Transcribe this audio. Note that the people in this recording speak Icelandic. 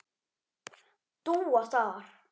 Dúa þar.